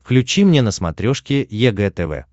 включи мне на смотрешке егэ тв